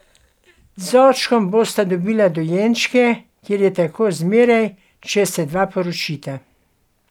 Z očkom bosta dobila dojenčke, ker je tako zmeraj, če se dva poročita.